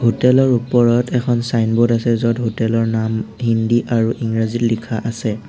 হোটেলৰ ওপৰত এখন ছাইনবোৰ্ড আছে য'ত হোটেলৰ নাম হিন্দী আৰু ইংৰাজীত লিখা আছে।